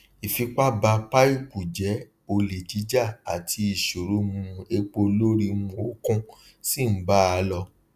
ìfipá ba paìpù jé olè jíjà àti iṣoro um epo lórí um òkun ṣi ń bá a lọ um